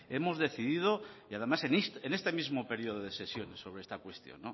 hemos decidido y además en este mismo periodo de sesiones sobre esta cuestión